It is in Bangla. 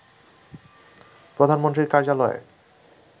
প্রধানমন্ত্রীর কার্যালয়ে